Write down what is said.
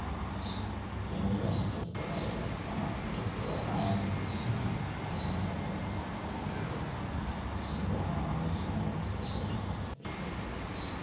Shinnidu In kasta oo aanay ahayn xoolaha la dhaqdo ee caadiga ah. Shinnidu waxay caawisaa wax soo saarka dhirta.